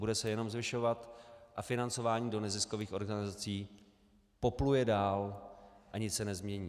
Bude se jenom zvyšovat a financování do neziskových organizací popluje dál a nic se nezmění.